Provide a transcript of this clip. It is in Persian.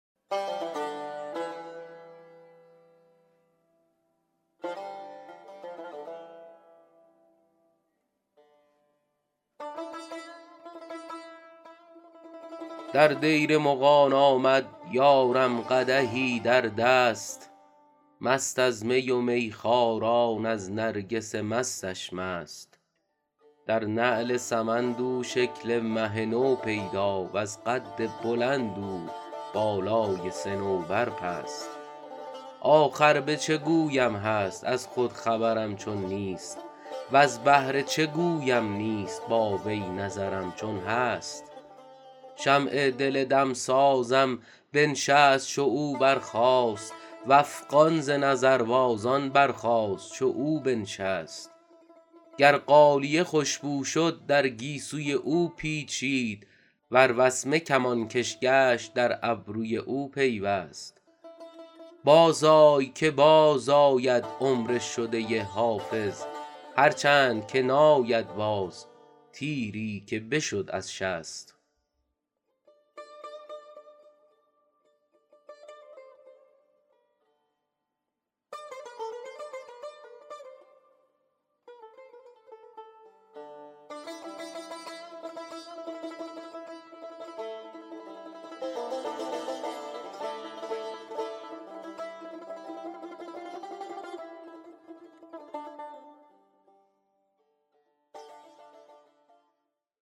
در دیر مغان آمد یارم قدحی در دست مست از می و میخواران از نرگس مستش مست در نعل سمند او شکل مه نو پیدا وز قد بلند او بالای صنوبر پست آخر به چه گویم هست از خود خبرم چون نیست وز بهر چه گویم نیست با وی نظرم چون هست شمع دل دمسازم بنشست چو او برخاست و افغان ز نظربازان برخاست چو او بنشست گر غالیه خوش بو شد در گیسوی او پیچید ور وسمه کمانکش گشت در ابروی او پیوست بازآی که بازآید عمر شده حافظ هرچند که ناید باز تیری که بشد از شست